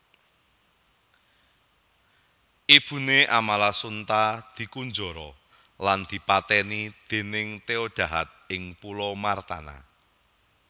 Ibuné Amalasuntha dikunjara lan dipatèni dèning Theodahad ing pulau Martana